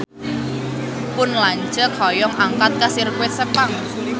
Pun lanceuk hoyong angkat ka Sirkuit Sepang